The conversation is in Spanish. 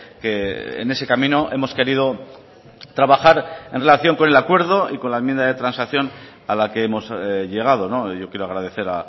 que en ese camino hemos querido trabajar en relación con el acuerdo y con la enmienda de transacción a la que hemos llegado yo quiero agradecer